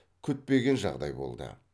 күтпеген жағдай болды